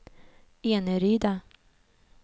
Eneryda